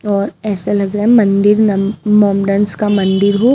और ऐसे लग रहा है मंदिर नम् मोमडन्स का मंदिर हो।